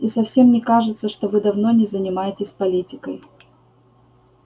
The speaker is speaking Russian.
и совсем не кажется что вы давно не занимаетесь политикой